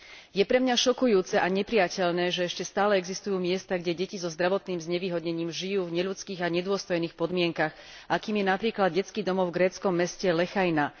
Je pre mňa šokujúce a neprijateľné, že ešte stále existujú miesta, kde deti so zdravotným znevýhodnením žijú v neľudských a nedôstojných podmienkach, akým je napríklad detský domov v gréckom meste Lechaina.